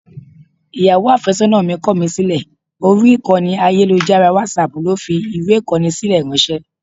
Ìyàwó àfẹ́sọ́nà mi kọ̀ mí sílẹ̀, orí ìkànnì ayélujára WhatsApp ló fi fi ìwé Ìkọ́ni sílẹ̀ ráńṣẹ́.